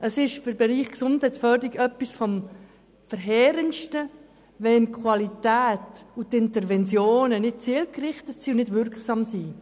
Es ist für den Bereich Gesundheitsförderung etwas vom Verheerendsten, wenn die Qualität und die Interventionen nicht zielgerichtet und nicht wirksam sind.